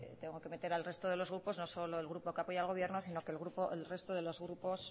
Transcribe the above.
tengo que meter al resto de los grupos no solo el grupo que apoye al gobierno sino que el resto de los grupos